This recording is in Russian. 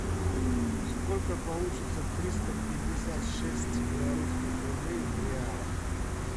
сколько получится триста пятьдесят шесть белорусских рублей в реалах